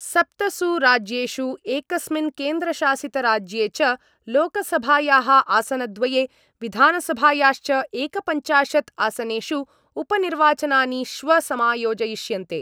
सप्तसु राज्येषु एकस्मिन् केन्द्रशासितराज्ये च लोकसभायाः आसनद्वये विधानसभायाश्च एकपञ्चाशद् आसनेषु उपनिर्वाचनानि श्व समायोजयिष्यन्ते।